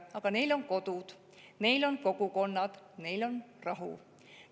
Aga neil on kodud, neil on kogukonnad, neil on rahu.